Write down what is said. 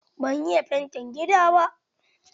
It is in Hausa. Ban iya fanti gida ba.